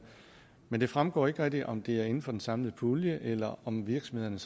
men det fremgår ikke rigtig om det er inden for den samlede pulje eller om virksomhederne